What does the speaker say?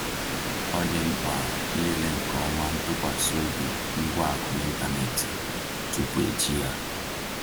Ọ dị mkpa ịlele nke ọma ntụkwasị obi ngwa akụ n’ịntanetị tupu eji ya.